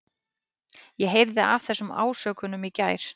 Ég heyrði af þessum ásökunum í gær.